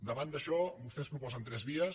davant d’això vostès proposen tres vies